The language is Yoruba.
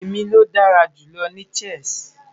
Emi ni o dara julọ ni Chess